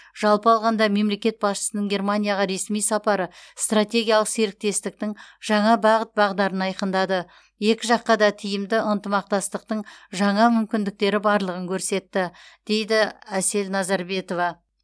жалпы алғанда мемлекет басшысының германияға ресми сапары стратегиялық серіктестіктің жаңа бағыт бағдарын айқындады екі жаққа да тиімді ынтымақтастың жаңа мүмкіндіктері барлығын көрсетті дейді әсел назарбетова